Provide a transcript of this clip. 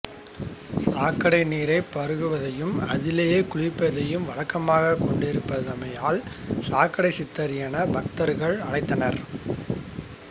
சாக்கடை நீரைப் பகுவதையும் அதிலேயே குளிப்பதையும் வழக்கமாகக் கொண்டிருந்தமையால் சாக்கடை சித்தர் என பக்தர்கள் அழைத்தனர்